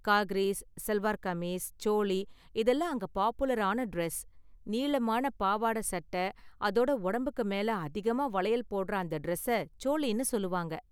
காக்ரிஸ், சல்வார்கமீஸ், சோளி இதெல்லாம் அங்க பாப்புலரான டிரஸ். நீளமான பாவாடை, சட்டை அதோட உடம்புக்கு மேல அதிகமா வளையல் போடுற அந்த டிரஸ்ஸ சோளினு சொல்லுவாங்க.